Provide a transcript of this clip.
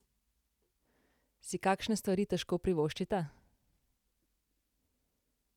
Si kakšne stvari težko privoščita?